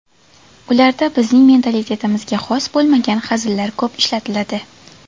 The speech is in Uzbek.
Ularda bizning mentalitetimizga xos bo‘lmagan hazillar ko‘p ishlatiladi.